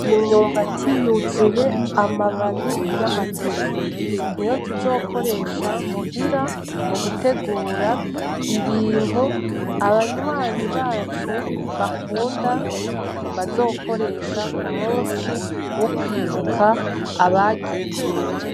Imyumbati yuzuye amababi y'amateke, niyo tuzokoresha muhira mu gutegura ibintu abanywanyi bacu bakunda bazokoresha ku musi wo kwibuka abagiye.